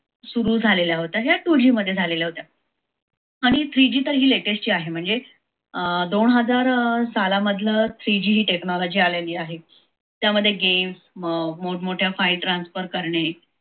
सुरू झालेल्या होत्या या two g मध्ये झालेल्या होत्या आणि three g तर ही latest आहे म्हणजे अं दो हजार अं सलामधल three g ही technology आलेली आहे त्यामध्ये games मोठ मोठ्य file transfer करणे